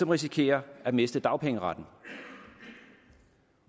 risikerer at miste dagpengeretten